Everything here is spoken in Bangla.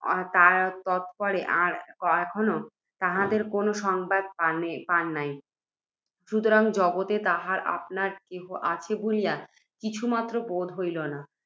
তৎপরে আর কখনও তাঁহাদের কোনও সংবাদ পান নাই। সুতরাং, জগতে তাঁহার আপনার কেহ আছে বলিয়া কিছুমাত্র বোধ ছিল না।